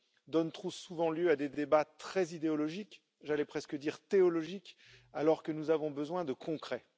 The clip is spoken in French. donne trop souvent lieu à des débats très idéologiques j'allais presque dire théologiques alors que nous avons besoin de concret.